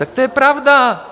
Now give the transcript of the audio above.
Tak to je pravda.